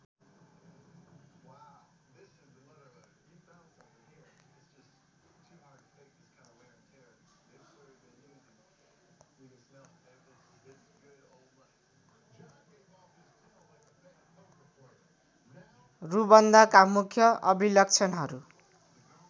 रुबन्धका मुख्य अभिलक्षणहरू